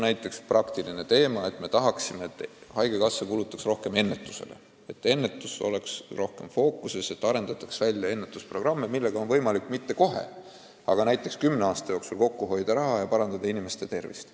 Näiteks, praktiline teema: me tahame, et haigekassa kulutaks rohkem ennetusele, ennetus oleks rohkem fookuses ja arendataks välja ennetusprogramme, millega oleks võimalik küll mitte kohe, aga näiteks kümne aasta jooksul kokku hoida raha ja parandada inimeste tervist.